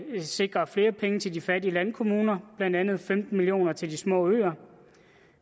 sikrer flere penge til de fattige landkommuner blandt andet femten million kroner til de små øer